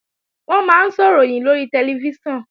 Wọ́n máa ń sọ̀ròyìn lórí tẹlifíṣàn